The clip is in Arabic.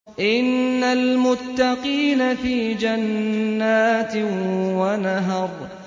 إِنَّ الْمُتَّقِينَ فِي جَنَّاتٍ وَنَهَرٍ